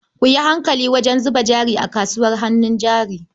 Ku yi hankali wajen zuba jari a kasuwar hannun jari.